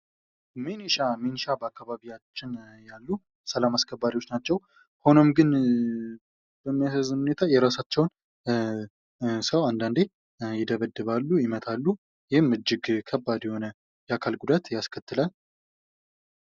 ሚሊሻ፦ ሚሊሻ በአካባቢያችን ያሉ ሰላም አስከባሪ ሀይሎች ናቸው። ሆኖም ግን በሚያሳዝን ሁኔታ የራሳቸውን ሰው ይደበድባሉ። ይመታሉ። ይህም እጅግ ከባድ ለሆነ የአካል ጉዳት ያስከትላል።